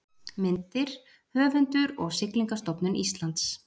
Myndir: Höfundur og Siglingastofnun Íslands